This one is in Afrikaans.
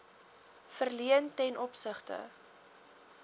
verleen ten opsigte